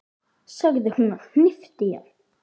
sagði hún og hnippti í hann.